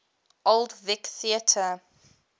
old vic theatre